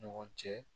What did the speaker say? Ɲɔgɔn cɛ